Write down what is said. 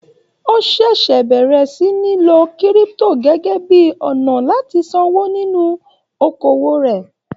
O ṣẹṣẹ bẹrẹ sí ní lò kírípútò gẹgẹ bíi ọnà láti sanwó nínú okoowó rẹ.